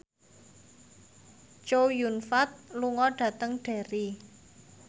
Chow Yun Fat lunga dhateng Derry